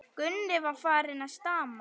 Gunni var farinn að stama.